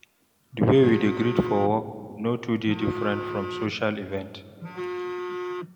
Di way we dey take greet for work no too dey diffrent from social event